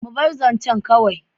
Mu bar zancen kawai.